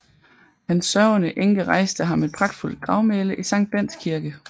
Hans sørgende enke rejste ham et pragtfuldt gravmæle i Sankt Bendts Kirke